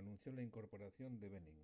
anunció la incorporación de benín